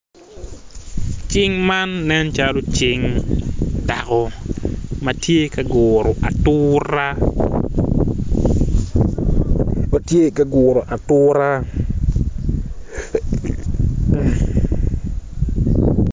Cing man nen calo cing dako ma tye ka guro atura